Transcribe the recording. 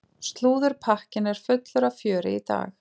Slúðurpakkinn er fullur af fjöri í dag.